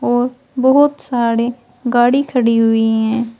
और बहोत सारे गाड़ी खड़ी हुई हैं।